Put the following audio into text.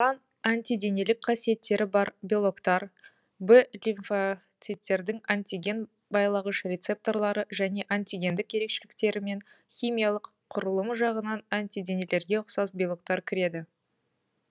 оған антиденелік қасиеттері бар белоктар в лимфоциттердің антиген байлағыш рецепторлары және антигендік ерекшеліктері мен химиялық құрылымы жағынан антиденелерге ұқсас белоктар кіреді